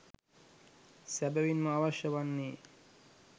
සැබවින්ම අවශ්‍ය වන්නේ,